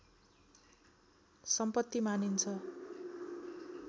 सम्पत्ति मानिन्छ